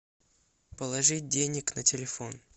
положить денег на телефон